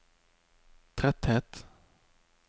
tretthet